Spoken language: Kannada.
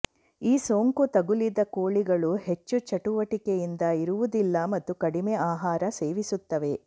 ಈ ಸೋಂಕು ತಗುಲಿದ ಕೋಳಿಗಳು ಹೆಚ್ಚು ಚಟುವಟಿಕೆಯಿಂದ ಇರುವುದಿಲ್ಲ ಮತ್ತು ಕಡಿಮೆ ಆಹಾರ ಸೇವಿಸುತ್ತವೆ